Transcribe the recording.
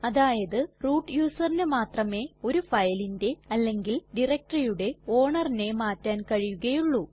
അതായത് റൂട്ട് userന് മാത്രമേ ഒരു ഫയലിന്റെ അല്ലെങ്കിൽ directoryയുടെ ownerനെ മാറ്റാൻ കഴിയുകയുള്ളൂ